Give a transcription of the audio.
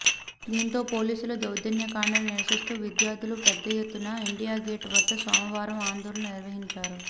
దీంతో పోలీసుల దౌర్జన్యకాండను నిరసిస్తూ విద్యార్థులు పెద్దఎత్తున ఇండియాగేట్ వద్ద సోమవారం ఆందోళన నిర్వహించారు